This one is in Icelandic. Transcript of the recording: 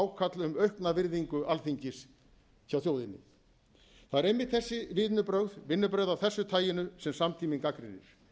ákall um aukna virðingu alþingis hjá þjóðinni það eru einmitt þessi vinnubrögð vinnubrögð af þessu taginu sem samtíminn gagnrýnir